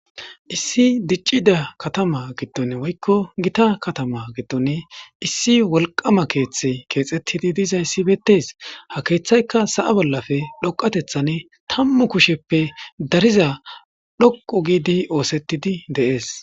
issi diccida katama gidton woykko gita katama gidton issi wolqama keeththe keexettidi diizayssi beettes ha keeththayka sa7a bollafe dhoqatethan tammu kusheppe dariza dhoqo giidi oosettidi deees